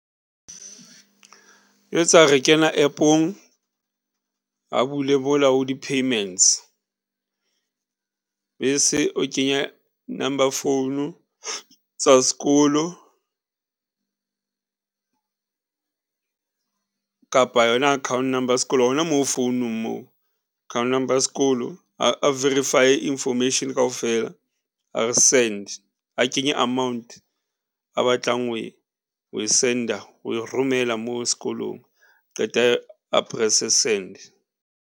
Re kena App-ong, a bule mola ho di-payments bese o kenya number phone tsa sekolo kapa yona account number ya sekolo hona moo founong moo. Account number ya sekolo, a verify-e information kaofela a re send a kenye amount a batlang ho e send-a, ho e romela moo sekolong qeta a press-e send.